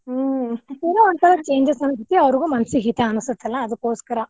ಹ್ಮ್ ಏನೋ ಒಂತರ changes ಅನಿಸ್ತೇತಿ ಅವ್ರಿಗೂ ಮನಸಿಗೆ ಹಿತಾ ಅನಿಸ್ತೇತಲ್ಲಾ ಅದ್ಕೊಸ್ಕರಾ.